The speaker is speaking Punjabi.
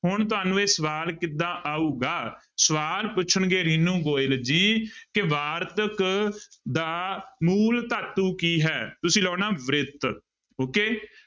ਹੁਣ ਤੁਹਾਨੂੰ ਇਹ ਸਵਾਲ ਕਿੱਦਾਂ ਆਊਗਾ, ਸਵਾਲ ਪੁੱਛਣਗੇ ਰੀਨੂ ਗੋਇਲ ਜੀ ਕਿ ਵਾਰਤਕ ਦਾ ਮੂਲ ਧਾਤੂ ਕੀ ਹੈ, ਤੁਸੀਂ ਲਾਉਣਾ ਬ੍ਰਿਤ okay